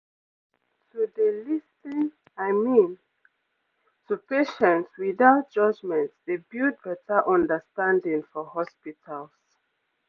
to dey lis ten i mean to patients without judgement dey build better understanding for hospitals